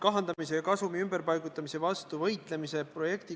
Aga kui surma saab kolme alaealise lapse vanem?